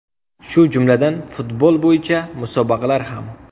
Shu jumladan, futbol bo‘yicha musobaqalar ham.